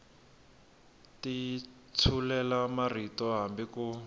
ti tshulela marito hambi ku